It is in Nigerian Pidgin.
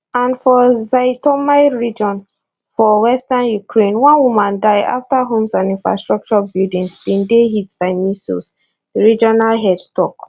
and for zhytomyr region for western ukraine one woman die afta homes and infrastructure buildings bin dey hit by missiles di regional head tok